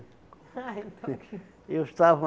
Ah, então que... Eu estava...